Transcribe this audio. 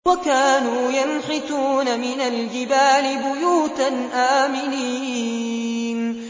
وَكَانُوا يَنْحِتُونَ مِنَ الْجِبَالِ بُيُوتًا آمِنِينَ